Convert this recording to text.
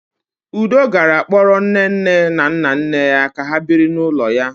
Udo gara kpọrọ nnenne na nnanne ya ka ha biri n'ụlọ ya.